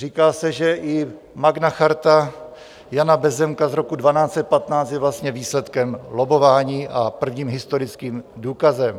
Říká se, že i Magna Charta Jana Bezzemka z roku 1215 je vlastně výsledkem lobbování a prvním historickým důkazem.